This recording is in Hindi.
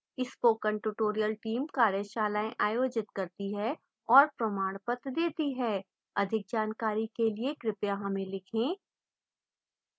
spoken tutorial team कार्यशालाएँ आयोजित करती है और प्रमाणपत्र देती है अधिक जानकारी के लिए कृपया हमें लिखें